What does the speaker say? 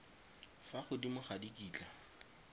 fa godimo ga di kitla